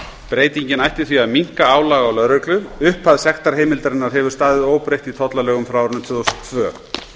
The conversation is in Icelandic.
breytingin ætti því að minnka álag á lögreglu upphæð sektarheimildarinnar hefur staðið óbreytt í tollalögum frá árinu tvö þúsund og tvö